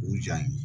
O jaa in